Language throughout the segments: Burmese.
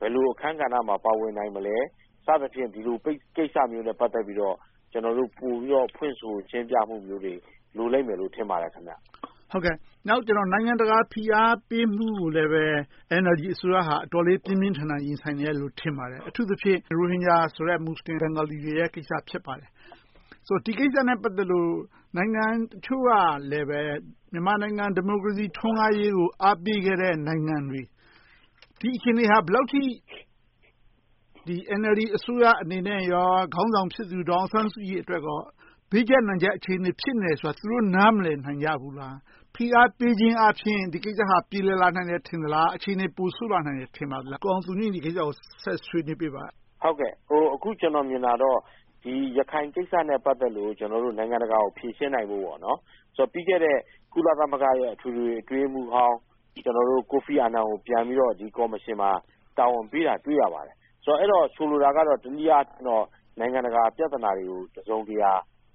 ဘယ်လို အခန်းကဏ္ဍမှာ ပါဝင်နိုင်မလဲ စသည်ဖြင့် ဒီလို ကိစ္စမျိုးနဲ့ ပိ နိုင်ငံတကာ ဖိအားပေးမှုကိုလည်း NLD အစိုးရ တော်တော်လေး ပြင်းပြင်းထန်ထန် ရင်ဆိုင်နေရတယ်လို့ ထင်ပါတယ်။ အထူးသဖြင့် ရိုဟင်ဂျာဆိုတဲ့ မူစလင်ဘင်ဂါလီတွေရဲ့ ကိစ္စ ဖြစ်ပါတယ်။ ဒီကိစ္စနဲ့ ပတ်သက်လို့ နိုင်ငံအချို့ကလဲ မြန်မာနိုင်ငံ ဒီမိုကရေစီ ထွန်းကားရေးကို အားပေးခဲ့တဲ့ နိုင်ငံတွေ။ ဒီအခြေအနေဟာ ဘယ်လောက်အထိ NLD အစိုးရအနေနဲ့ ခေါင်းဆောင်ဖြစ်သူ ဒေါ်အောင်ဆန်းစုကြည်အတွက် ဘေးကျပ်နံကျပ် အခြေအနေ ဖြစ်နေတယ်ဆိုတာ သူတို့ နားမလည်နိုင်ကြဘူးလား။ ဖိအားပေးခြင်းအားဖြင့် ဒီကိစ္စဟာ ပြေလည်နိုင်မယ်လို့ ထင်သလား။ အခြေအနေ ပိုဆိုးလာနိုင်မယ်လို့ ထင်သလား။ ကိုအောင်သူငြိမ်း ဒီကိစ္စကို ဆက်ဆွေးနွေးပေးပါ။ အခု ကျနော် မြင်တာကတော့ ရခိုင်ကိစ္စနဲ့ ပတ်သက်လို့ နိုင်ငံတကာကို ဖြေရှင်းနိုင်ဖို့ ပြီးခဲ့တဲ့ ကုလသမဂ္ဂရဲ့ အထွေထွေအတွင်းရေးမှူးဟောင်း ကိုဖီအာနန်ကို ပြန်ပြီးတော့ ကော်မရှင်မှာ ပြန်ပြီးတာဝန်ပေးတာ တွေ့ရပါတယ်။ အဲဒီတော့ ဆိုလိုတာကတော့ တနည်းအားဖြင့် နိုင်ငံတကာ ပြဿနာတွေကို တစုံတရာ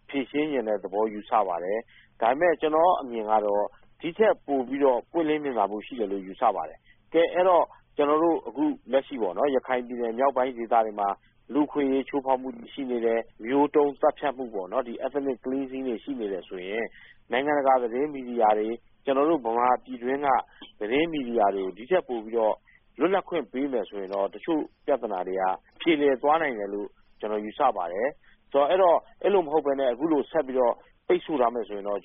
ဖြေရှင်းလိုတဲ့သဘောလို့ ယူဆပါတယ်။ ဒါပေမဲ့ ကျနော့်အမြင်ကတော့ ဒီထက်ပိုပြီးတော့ ပွင့်လင်းမြင်သာမှု ရှိတယ်လို့ ယူဆပါတယ်။ တကယ်တော့ ကျနော်တို့ အခုလက်ရှိ ရခိုင်ပြည်နယ် မြောက်ပိုင်းဒေသတွေမှာ လူ့အခွင့်အရေး ချိုးဖောက်မှု ရှိနေတယ်။ မျိုးတုန်းသတ်ဖြတ်မှု Ethnic Cleansing တွေ ရှိနေတယ်ဆိုရင် နိုင်ငံတကာသတင်း မီဒီယာတွေ၊ ကျနော်တို့ ဗမာပြည်တွင်းက သတင်းမီဒီယာတွေကို ပိုပြီးတော့ လွတ်လပ်ခွင့် ပေးမယ်ဆိုရင်တော့ တချို့ပြဿနာတွေက ပြေလည်သွားနိုင်မယ်လို့ ကျနော် ယူဆပါတယ်။ အဲဒီလို မဟုတ်ဘဲနဲ့ အခုလို ဆက်ပြီးတော့ ပိတ်စို့ထားမယ်ဆိုရင်တော့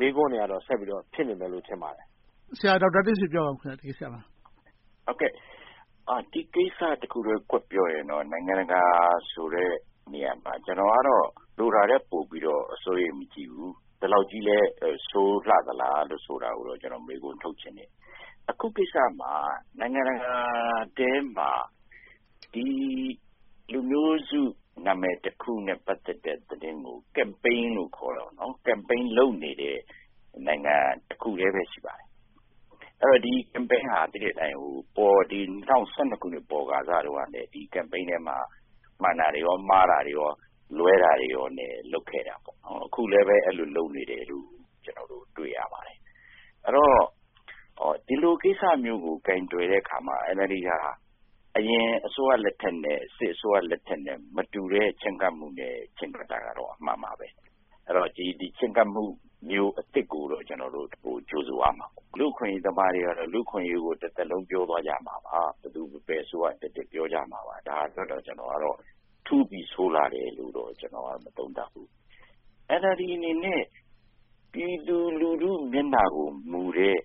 မေးခွန်းတွေက ဆက်ပြီးတော့ ဖြစ်နေမယ်လို့ ထင်ပါတယ်။ ဒီကိစ္စနဲ့ ပတ်သက်ပြီး ဆရာဒေါက်တာတင့်ဆွေ ပြောပါ။ ဒီကိစ္စတခုတည်း ကွက်ပြောရင်တော့ နိုင်ငံတကာဆိုတဲ့ နေရာမှာ ကျနော်ကတော့ လိုတာထက် ပိုပြီးတော့ စိုးရိမ်မှု မရှိဘူး။ ဒီလောက်ကြီးလဲ ဆိုးလှသလား ဆိုတာကိုတော့ မေးခွန်းထုတ်ချင်တယ်။ အခုကိစ္စမှာ နိုင်ငံတကာထဲမှာ ဒီလူမျိုးစု နာမည်တခုနဲ့ ပတ်သက်တဲ့ သတင်းကို Campaign လုပ်နေတဲ့ နိုင်ငံ တခုတည်းပဲ ရှိပါတယ်။ ဒီ Campaign ဟာ ၂၀၁၂ ခုနှစ်တုန်းက မှန်တာတွေ၊ မှားတာတွေ၊ လွဲတာတွေနဲ့ လုပ်ခဲ့တာ။ အခုလဲပဲ အဲဒီလို လုပ်နေတယ်လို့ တွေ့ရပါတယ်။ အဲဒီတော့ ဒီလိုကိစ္စမျိုးကို ကိုင်တွယ်တဲ့အခါမှာ NLD ဟာ အရင်အစိုးရလက်ထက်၊ စစ်အစိုးရလက်ထက်နဲ့ မတူတဲ့ ချဉ်းကပ်မှုနဲ့ ချဉ်းကပ်နေတာတော့ အမှန်ပဲ။ အဲဒီတော့ ဒီလို ချဉ်းကပ်မှုမျိုး အသစ်ကို ကျနော်တို့ ကြိုဆိုရမှာပေါ့။ လူ့အခွင့်ရေးသမားတွေကတော့ လူ့အခွင့်အရေးကို တသက်လုံး ပြောသွားကြမှာပါ။ ဘယ်အစိုးရတက်တက် ပြောကြမှာပါ။ ဒါအတွက်တော့ ထူးပြီးဆိုးလှတယ်လို့ မသုံးသပ်ပါဘူး။ NLD အနေနဲ့ ပြည်သူလူထု မျက်နှာကိုမူတဲ့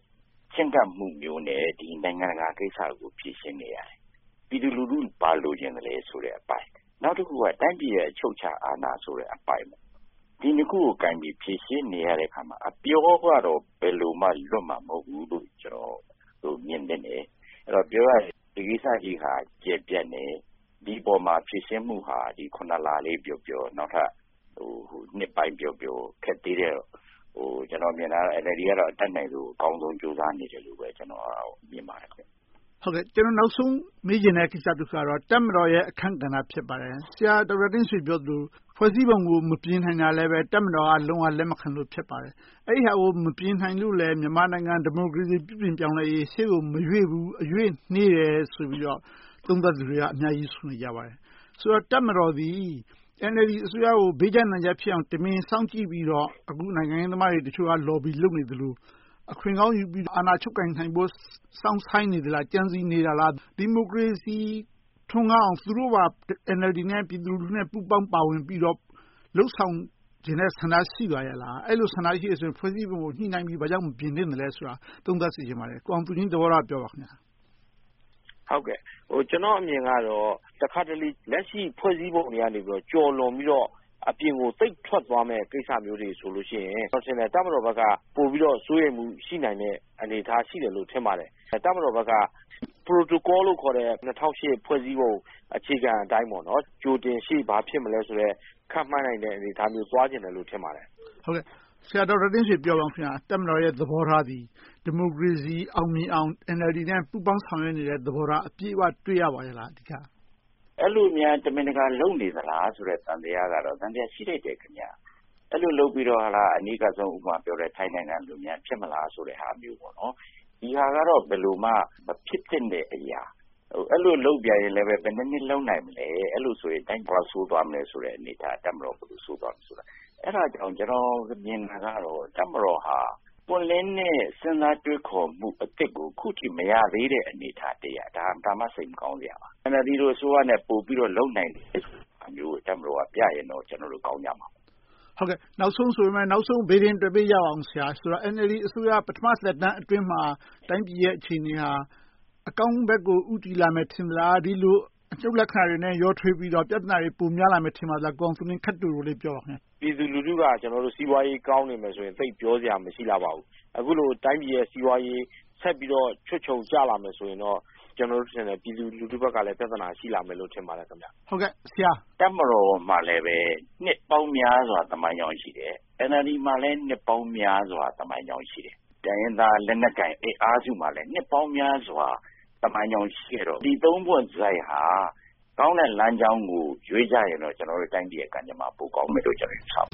ချဉ်းကပ်မှုမျိုးနဲ့ ဒီနိုင်ငံတကာကိစ္စကို ဖြေရှင်းနေရတယ်။ ပြည်သူလူထု ဘာလိုချင်သလဲဆိုတဲ့အပိုင်း။ နောက်တခုက တိုင်းပြည်ရဲ့ အချုပ်အခြာအာဏာဆိုတဲ့အပိုင်း။ ဒီနှစ်ခုကို ကိုင်ပြီးဖြေရှင်းနေရတဲ့အခါမှာ အပြောကတော့ ဘယ်လိုမှ လွတ်မှာမဟုတ်ဘူးလို့ မြင်တယ်။ အဲဒီတော့ ပြောရရင် ဒီကိစ္စကြီးဟာ ကျယ်ပြန့်တယ်။ ဒီအပေါ်မှာ ဖြေရှင်းမှုဟာ ခုနှစ်လလေးပြောပြော နောက်ထပ်နှစ်ပိုင်းပြောပြော ခက်သေးတော့ ကျနော် မြင်တာကတော့ NLD က အတတ်နိုင်ဆုံး၊ အကောင်းဆုံး ကြိုးစားနေတယ်လို့ပဲ မြင်ပါတယ်။ ကျနော် နောက်ဆုံးမေးချင်တဲ့ ကိစ္စတခုကတော့ တပ်မတော်ရဲ့ အခန်းကဏ္ဍ ဖြစ်ပါတယ်။ ဆရာဒေါက်တာတင့်ဆွေ ပြောသလို ဖွဲ့စည်းပုံကို မပြင်နိုင်တာလဲ တပ်မတော်က လုံးဝလက်မခံလို့ ဖြစ်ပါတယ်။ အဲဒီဟာကို မပြင်နိုင်လို့လဲ မြန်မာနိုင်ငံ ဒီမိုကရေစီ ပြုပြင်ပြောင်းလဲရေး ရှေ့ကို မရွေ့ဘူး၊ နှေးတယ်ဆိုပြီးတော့ သုံးသပ်သူတွေ အများကြီး ရှိပါတယ်။ ဆိုတော့ တပ်မတော်သည် NLD အစိုးရကို ဘေးကျပ်နံကျပ်ဖြစ်အောင် တမင်စောင့်ကြည့်ပြီးတော့ အခုနိုင်ငံရေးသမားတချို့က Lobby လုပ်နေသလို အခွင့်ကောင်းယူပြီး အာဏာချုပ်ကိုင်နိုင်ဖို့ စောင့်ဆိုင်းနေသလား။ ကြံစည်နေနေလား။ ဒီမိုကရေစီ ထွန်းကားအောင် သူတို့ပါ NLD၊ ပြည်သူလူထုနဲ့ ပူးပေါင်းပါဝင်ပြီးတော့ လုပ်ဆောင်ချင်တဲ့ဆန္ဒ ရှိပါရဲ့လား။ အဲဒီလို ဆန္ဒရှိတယ်ဆိုရင် ဖွဲ့စည်းပုံကို ညှိနှိုင်းပြီး မပြင်သင့်သလဲဆိုတာ သုံးသပ်စေချင်ပါတယ်။ ကိုအောင်သူငြိမ်း သဘောထားကို ပြောပါ။ ကျနော်အမြင်ကတော့ တခါတလေ လက်ရှိ ဖွဲ့စည်းပုံထဲကနေ ကျော်လွန်ပြီးတော့ အပြင်ကို သိပ်ထွက်သွားမယ့်ကိစ္စမျိုးတွေဆိုရင် တပ်မတော်ဘက်က ပိုပြီးတော့ စိုးရိမ်မှုတွေ ပိုရှိနိုင်တဲ့ အနေအထား ရှိတယ်လို့ ထင်ပါတယ်။ တပ်မတော်ဘက်က Protocol လို့ခေါ်တဲ့ ၂၀၀၈ ဖွဲ့စည်းပုံအခြေခံအတိုင်း ကြိုတင်ရှေ့ဘာဖြစ်မလဲဆိုတဲ့ ခန့်မှန်းနိုင်တဲ့ အနေအထားမျိုး သွားချင်တယ်လို့ ထင်ပါတယ်။ ဆရာဒေါက်တာတင့်ဆွေ ပြောပါအုံး။ တပ်မတော်ရဲ့ သဘောထားသည် ဒီမိုကရေစီ အောင်မြင်အောင် NLD နဲ့ ပူးပေါင်းဆောင်ရွက်နေတဲ့ သဘောထား အပြည့်အဝ အဓိက တွေ့ရပါလား။ အဲဒီလိုများ တမင်တကာ လုပ်နေသလားဆိုတဲ့ သံသယကတော့ သံသယ ရှိသင့်တယ်။ အဲဒီလို လုပ်ပြီးတော့ အနီးကပ်ဆုံး ထိုင်းနိုင်ငံလိုများ ဖြစ်မလားဆိုတဲ့ဟာမျိုး။ ဒီဟာကတော့ ဘယ်လိုမှ ဖြစ်သင့်တဲ့အရာ။ အဲဒီလို လုပ်ပြန်ရင်လဲ ဘယ်နှစ်နှစ် လုပ်နိုင်မလဲ။ အဲဒီလိုဆိုရင် ပိုဆိုးသွားမယ်ဆိုတဲ့ အနေအထား တပ်မတော်ကို ပိုဆိုးသွားမယ်။ အဲဒါကြောင့် ကျနော် မြင်တာကတော့ တပ်မတော်ဟာ ပွင့်လင်းတဲ့ စဉ်းစားတွေးခေါ်မှု အသစ်ကို အခုထိ မရသေးတဲ့ အနေအထားတရပ်။ ဒါမှ စိတ်မကောင်းစရာပါ။ NLD အစိုးရနဲ့ ပိုပြီးလုပ်နိုင်တဲ့ဟာမျိုးကို တပ်မတော်က ပြနိုင်ရင်တော့ ကျနော်တို့ ကောင်းကြမှာပေါ့။ နောက်ဆုံးဆိုပေမယ့် နောက်ဆုံး ဗေဒင်တွက်ပေးကြပါအုံး။ NLD အစိုးရ ပထမသက်တမ်းအတွင်းမှာ တိုင်းပြည်ရဲ့ အခြေအနေဟာ အကောင်းဘက်ကို ဦးတည်လာမယ် ထင်သလား။ အနုတ်လက္ခဏာတွေနဲ့ ရောထွေပြီးတော့ ပြဿနာတွေ ပိုများလာမယ့် ထင်ပါသလား။ ကိုအောင်သူငြိမ်း ခပ်တိုတိုလေး ပြောပါ။ ပြည်သူလူထုက စီးပွားရေး ကောင်းနေမယ်ဆိုရင် သိပ်ပြောစရာ မရှိလှပါဘူး။ အခုလို တိုင်းပြည်ရဲ့ စီးပွားရေး ဆက်ပြီးတော့ ချွတ်ခြုံကျလာမယ်ဆိုရင်တော့ ပြည်သူလူထုဘက်ကလဲ ပြဿနာ ရှိလာမယ်လို့ ထင်ပါတယ်။ တပ်မတော်မှာလဲ နှစ်ပေါင်းများစွာ သမိုင်းကြောင်း ရှိတယ်။ NLD မှာလဲ နှစ်ပေါင်းများစွာ သမိုင်းကြောင်းရှိတယ်။ တိုင်းရင်းသား လက်နက်ကိုင်အင်အားစုမှာလဲ နှစ်ပေါင်းများစွာ သမိုင်းကြောင်းရှိတယ်ဆိုတော့ ဒီသုံးပွင့်ဆိုင်းဟာ ကောင်းတဲ့လမ်းကြောင်းကို ရွေးကြရင်တော့ ကျနော်တို့တိုင်းပြည်ရဲ့ ကံကြမ္မာ ပိုကောင်းမယ်လို့ ကျနော် ယူဆပါ